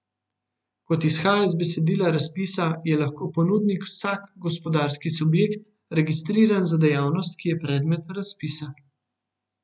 Kot izhaja iz besedila razpisa, je lahko ponudnik vsak gospodarski subjekt, registriran za dejavnost, ki je predmet razpisa.